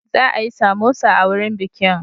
Za a yi samosa a wurin bikin.